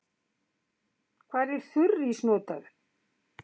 Hvar er þurrís notaður?